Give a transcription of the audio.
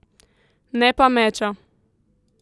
Ne pa meča.